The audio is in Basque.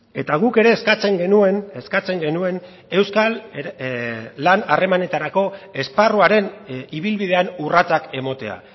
eta guk ere eskatzen genuen eskatzen genuen euskal lan harremanetarako esparruaren ibilbidean urratsak ematea